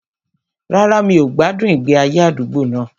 Rárá, mi ò gbádùn ìgbé ayé àdúgbò náà